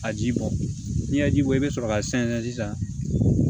A ji bɔ n'i ye ji bɔ i bɛ sɔrɔ ka sɛnsɛn sisan